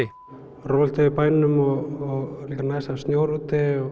rólegt yfir bænum og líka næs að snjór úti